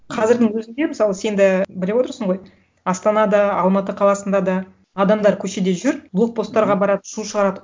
қазірдің өзінде мысалы сен де біліп отырсын ғой астанада алматы қаласында да адамдар көшеде жүр блокпосттарға барады шу шығарады